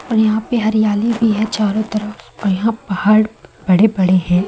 यहां पे हरियाली भी है चारों तरफ यहां पहाड़ बड़े-बड़े हैं।